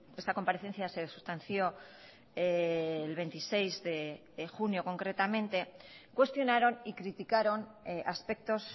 esta comparecencia se sustanció el veintiséis de junio concretamente cuestionaron y criticaron aspectos